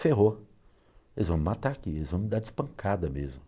Ferrou, eles vão me matar aqui, eles vão me dar de espancada mesmo.